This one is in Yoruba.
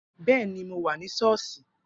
Bẹẹni, mo wà ní sọ́ọ̀sì